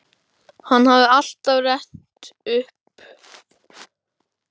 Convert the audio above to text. Hann hafði alltaf rennt honum upp, aldrei niður.